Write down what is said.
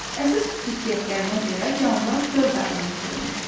Əsas xüsusiyyətlərinə görə canlılar dörd aləmə bölünür: